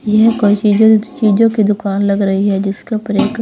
यह कोई चीज-चीजों की दुकान लग रही है जिसके ऊपर एक--